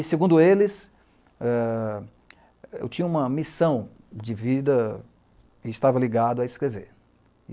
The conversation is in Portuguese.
E, segundo eles, eu tinha uma missão de vida e estava ligado a escrever.